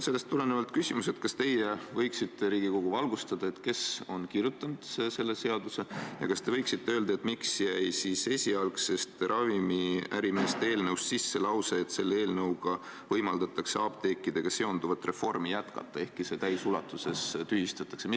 Sellest tulenevalt on mul küsimus: kas te võiksite Riigikogu valgustada, kes on selle seaduseelnõu kirjutanud, ja kas te võiksite öelda, miks jäi esialgsest ravimiärimeeste eelnõust sisse lause, et selle eelnõuga võimaldatakse apteekidega seonduvat reformi jätkata, ehkki see täisulatuses tühistatakse?